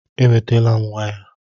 Ewetala m waya